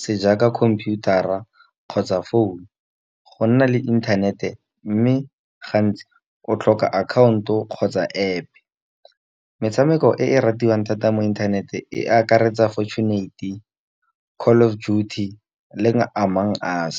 se jaaka computer a kgotsa founu. Go nna le internet-e mme gantsi o tlhoka akhaonto, kgotsa App, metshameko e ratiwang thata mo inthanete e akaretsa fortunate call of duty le amongst us.